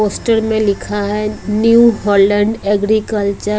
Poster में लिखा है न्यू हॉलैंड एग्रीकल्चर ।